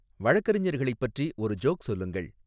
வழக்கறிஞர்களைப் பற்றி ஒரு ஜோக் சொல்லுங்கள்